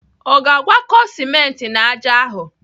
O ga-agwakọt simenti na ájá ahụ?